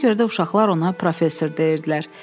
Buna görə də uşaqlar ona professor deyirdilər.